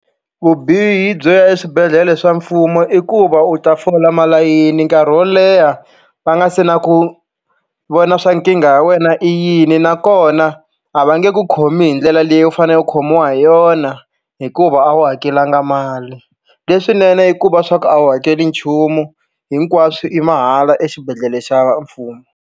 Vubihi byo ya eswibedhlele swa mfumo i ku va u ta fola malayini nkarhi wo leha va nga se na ku vona swa nkingha ya wena i yini nakona a va nge i ku khomi hi ndlela leyi u fanele u khomiwa hi yona hikuva a wu hakelanga mali. Leswinene i ku va swa ku a wu hakeli nchumu hinkwaswo i mahala exibedhlele xa mfumo.